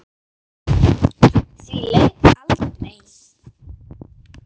Því lauk aldrei.